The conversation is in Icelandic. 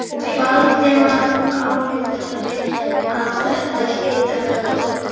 Valdimar ályktaði að þetta hlyti að vera dóttir Kolbrúnar.